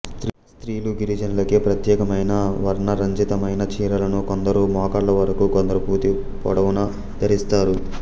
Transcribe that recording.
స్త్రీలు గిరిజనులకే ప్రత్యేకమైన వర్ణరంజితమైన చీరెలను కొందరు మోకాళ్ళ వరకు కొందరు పూతి పొడవున ధరిస్తారు